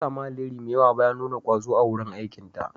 Ta sami alheri mai yawa bayan nuna ƙwazo a wurin aikinta.